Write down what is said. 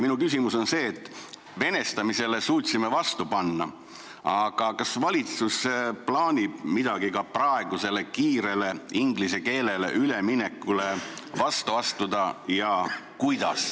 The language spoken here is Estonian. Minu küsimus on see: venestamisele suutsime vastu panna, aga kas ja kuidas plaanib valitsus kuidagi ka praegusele kiirele inglise keelele üleminekule vastu astuda?